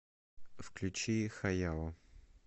включи хаяо